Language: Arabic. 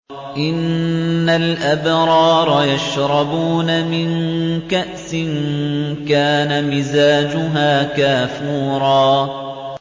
إِنَّ الْأَبْرَارَ يَشْرَبُونَ مِن كَأْسٍ كَانَ مِزَاجُهَا كَافُورًا